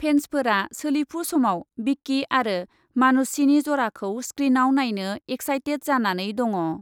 फेन्सफोरा सोलिफु समाव बिकी आरो मानुषीनि ज'राखौ स्क्रीनआव नायनो एक्साइटेड जानानै दङ।